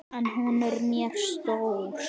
En hún er mér stór.